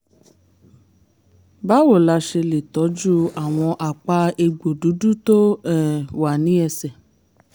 báwo la ṣe lè tọ́jú àwọn àpá egbò dúdú tó um wà ní ẹsẹ̀?